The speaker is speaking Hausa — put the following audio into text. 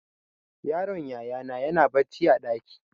Yaron yaya na na barci a ɗaki.